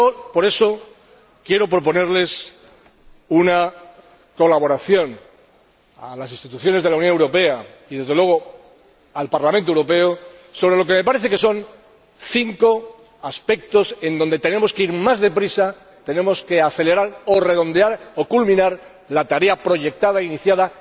Por eso quiero proponer una colaboración a las instituciones de la Unión Europea y, desde luego, al Parlamento Europeo, sobre lo que me parece que son cinco aspectos en los que tenemos que ir más deprisa, tenemos que acelerar o redondear o culminar la tarea proyectada e iniciada